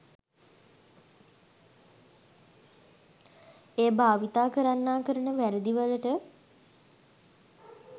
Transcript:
එය භාවිතා කරන්නා කරන වැරදි වලට